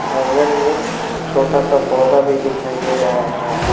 आंगन में छोटा सा पौधा भी दिखाई दे रहा है।